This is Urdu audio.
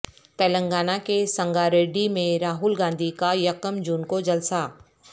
تلنگانہ کے سنگاریڈی میں راہل گاندھی کا یکم جون کو جلسہ